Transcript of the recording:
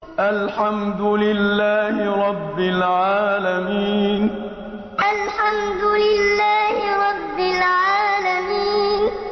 الْحَمْدُ لِلَّهِ رَبِّ الْعَالَمِينَ الْحَمْدُ لِلَّهِ رَبِّ الْعَالَمِينَ